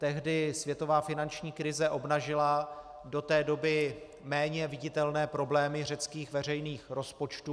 Tehdy světová finanční krize obnažila do té doby méně viditelné problémy řeckých veřejných rozpočtů.